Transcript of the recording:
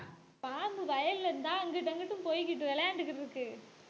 பாம்பு வயல்ல இருந்துதான் அங்கிட்டும் அங்கிட்டும் போய்கிட்டு விளையாண்டுக்கிட்டு இருக்கு